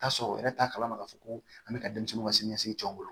Tasɔrɔ yɛrɛ t'a kalama k'a fɔ ko an bɛ ka denmisɛnninw ka siniɲɛsigi jɔ o bolo